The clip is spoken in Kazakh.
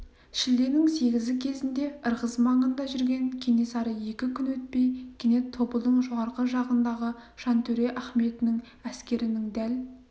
шілденің сегізі кезінде ырғыз маңында жүрген кенесары екі күн өтпей кенет тобылдың жоғарғы жағындағы жантөре ахметінің әскерінің дәл